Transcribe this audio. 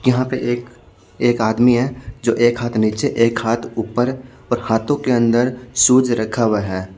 यहां पे एक एक आदमी है जो एक हाथ नीचे एक हाथ ऊपर और हाथों के अंदर शूज रखा हुआ है--